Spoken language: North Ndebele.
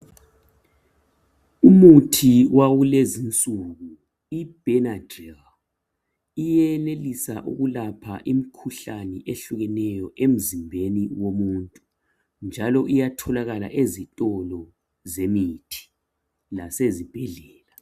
umuthi wakulezi insuku ibhenadlil uyenelisa ukulapha imikhuhlane ehlukeneyo emzimbeni womuntu njalo uyatholakala ezitolo zemithi lasezibhedlela